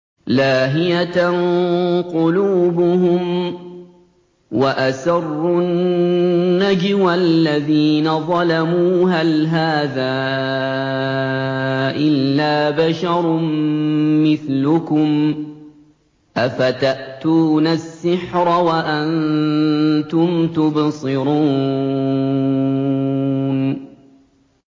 لَاهِيَةً قُلُوبُهُمْ ۗ وَأَسَرُّوا النَّجْوَى الَّذِينَ ظَلَمُوا هَلْ هَٰذَا إِلَّا بَشَرٌ مِّثْلُكُمْ ۖ أَفَتَأْتُونَ السِّحْرَ وَأَنتُمْ تُبْصِرُونَ